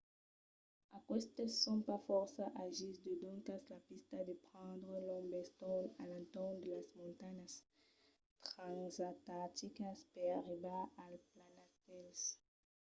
aquestes son pas fòrça agils e doncas la pista deu prendre un long bestorn a l'entorn de las montanhas transantarticas per arribar al planastèl